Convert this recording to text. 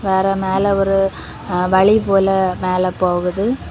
வேற மேல ஒரு வழி போல மேல போகுது.